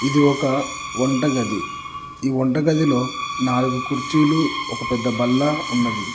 ఇది ఒక వంటగది ఈ వంట గదిలో నాలుగు కుర్చీలు ఒక పెద్ద బల్ల ఉన్నది.